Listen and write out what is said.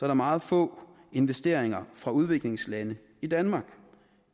der meget få investeringer fra udviklingslande i danmark